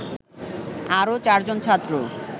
আরও চারজন ছাত্র